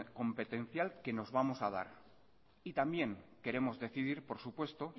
competencial que nos vamos a dar y también queremos decidir por supuesto